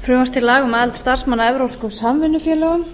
frumvarp til laga um aðild starfsmanna að evrópskum samvinnufélögum